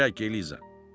Çək Eliza.